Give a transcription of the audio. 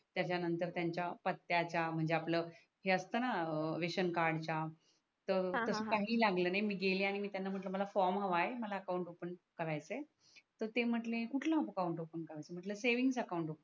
त्याच्या नंतर त्यांच्या पत्याच्या म्हणजे आपल हे असत णा रेशन कार्डच्या तर हा हा तस काही लागल नाही मी गेले आणि त्यांना म्हटल मला फॉर्म हव आहे मला अकाउंट ओफन करायच आहे तर ते म्हटले कुठलअकाउंट ओफन करायच मी म्हटल सेव्हिंग अकाउंट ओफन